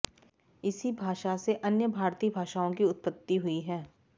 इसी भाषा से अन्य भारतीय भाषाओं की उत्पत्ति हुई है